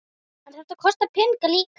En þetta kostar peninga líka?